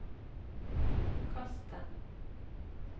kast den